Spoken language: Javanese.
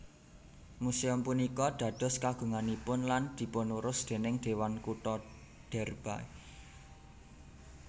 Muséum punika dados kagunganipun lan dipunurus déning Dewan Kutha Derby